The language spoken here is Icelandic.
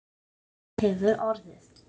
Já, það hefur orðið.